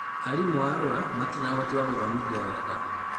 Aarimũ a Arua matirĩ na ũhoti wa gũthomithia wega